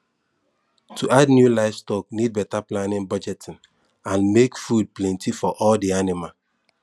to add new livestock need better planning budgeting and make food plenty for all the animal